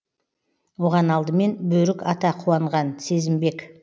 оған алдымен бөрік ата қуанған сезімбек